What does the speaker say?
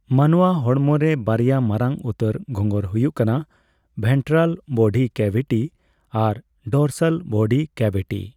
ᱢᱟᱱᱣᱟ ᱦᱚᱲᱢᱚ ᱨᱮ ᱵᱟᱨᱭᱟ ᱢᱟᱨᱟᱝ ᱩᱛᱟᱹᱨ ᱜᱷᱚᱸᱜᱚᱨ ᱦᱩᱭᱩᱜ ᱠᱟᱱᱟ ᱵᱷᱮᱱᱴᱨᱟᱞ ᱵᱚᱰᱤ ᱠᱮᱵᱷᱤᱴᱤ ᱟᱨ ᱰᱚᱨᱥᱟᱞ ᱵᱚᱰᱤ ᱠᱮᱵᱷᱤᱴᱤ ᱾